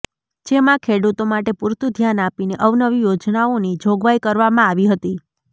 જેમાં ખેડૂતો માટે પૂરતુ ધ્યાન આપીને અવનવી યોજનાઓની જોગવાઇ કરવામાં આવી હતી